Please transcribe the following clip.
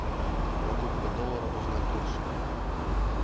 покупка доллара узнать курс